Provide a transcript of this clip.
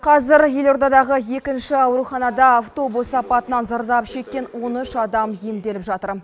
қазір елордадағы екінші ауруханада автобус апатынан зардап шеккен он үш адам емделіп жатыр